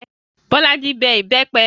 Bolaji bẹ ìbẹ́pẹ